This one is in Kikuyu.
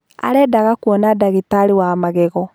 Arendaga kwona ndagitarĩ wa magego.